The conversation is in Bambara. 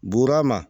Buura ma